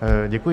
Děkuji.